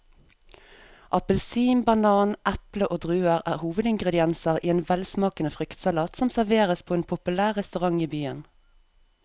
Appelsin, banan, eple og druer er hovedingredienser i en velsmakende fruktsalat som serveres på en populær restaurant i byen.